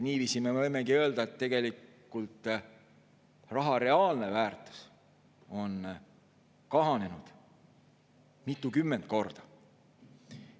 Niiviisi me võimegi öelda, et tegelikult raha reaalne väärtus on kahanenud mitukümmend korda.